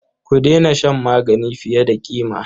Ku daina shan magani fiye da ƙima.